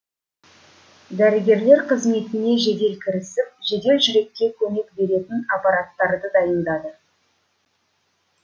дәрігерлер қызметіне жедел кірісіп жедел жүрекке көмек беретін аппараттарды дайындады